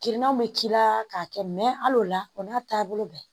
Kirinaw bɛ k'i la k'a kɛ mɛ al'o la o n'a taabolo bɛɛ